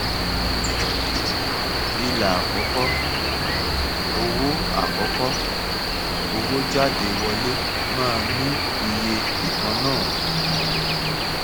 ilà àkọkọ owó àkọkọ owó jádewọlé máa ní iye ìkànnáà